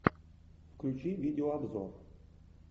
включи видеообзор